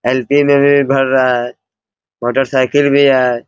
LP. में भी भर रहा है मोटर साइकिल भी है।